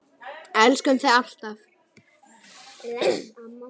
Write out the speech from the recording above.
Elskum þig alltaf.